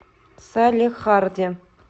салехарде